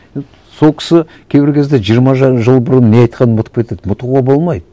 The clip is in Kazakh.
сол кісі кейбір кезде жиырма жарым жыл бұрын не айтқанын ұмытып кетеді ұмытуға болмайды